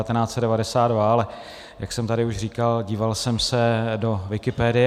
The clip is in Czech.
Ale jak jsem tady už říkal, díval jsem se do Wikipedie.